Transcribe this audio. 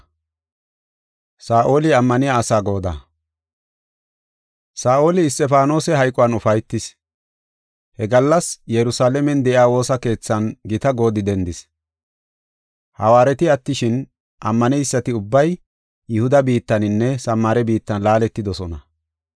Saa7oli Isxifaanose hayquwan ufaytis. He gallas Yerusalaamen de7iya woosa keethan gita goodi dendis. Hawaareti attishin, ammaneysati ubbay Yihuda biittaninne Samaare biittan laaletidosona.